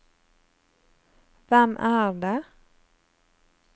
hvem er det